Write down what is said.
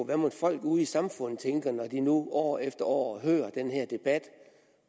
hvad mod folk ude i samfundet tænker når de nu år efter år hører den her debat